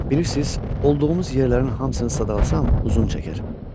Bilirsiz, olduğumuz yerlərin hamısını sadalarsam uzun çəkər.